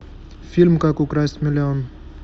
фильм как украсть миллион